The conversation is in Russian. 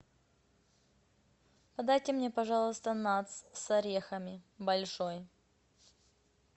подайте мне пожалуйста натс с орехами большой